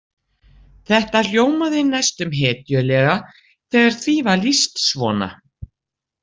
Þetta hljómaði næstum hetjulega þegar því var lýst svona.